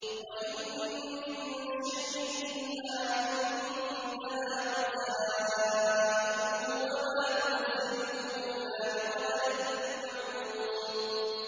وَإِن مِّن شَيْءٍ إِلَّا عِندَنَا خَزَائِنُهُ وَمَا نُنَزِّلُهُ إِلَّا بِقَدَرٍ مَّعْلُومٍ